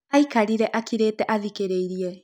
Araĩkarĩre akĩrĩte athikiririe.